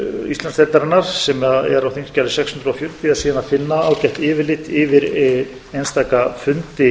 íslandsdeildarinnar sem er á þingskjali sex hundruð fjörutíu er síðan að finna ágætt yfirlit yfir einstaka fundi